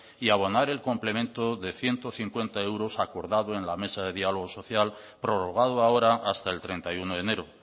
y abonar el complemento de ciento cincuenta euros acordado en la mesa de diálogo social prorrogado ahora hasta el treinta y uno de enero